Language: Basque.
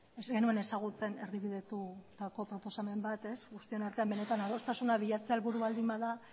ez genuen ezagutzen erdibidetutako proposamen bat guztion artean adostasuna bilatzea helburu baldin bada